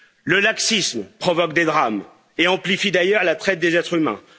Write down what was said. Le laxisme provoque des drames et amplifie d'ailleurs la traite des êtres humains.